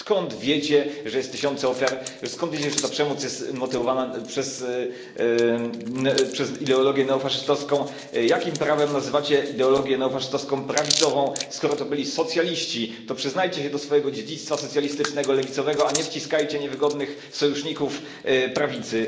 Skąd wiecie, że jest tysiące ofiar? Skąd wiecie, że ta przemoc jest motywowana przez ideologię neofaszystowską? Jakim prawem nazywacie ideologię neofaszystowską prawicową, skoro to byli socjaliści? To przyznajcie się do swojego dziedzictwa socjalistycznego lewicowego, a nie wciskajcie niewygodnych sojuszników prawicy.